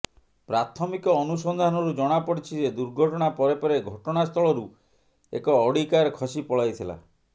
ପ୍ରାଥମିକ ଅନୁସନ୍ଧାନରୁ ଜଣାପଡ଼ିଛି ଯେ ଦୁର୍ଘଟଣା ପରେ ପରେ ଘଟଣାସ୍ଥଳରୁ ଏକ ଅଡି କାର୍ ଖସି ପଳାଇଥିଲା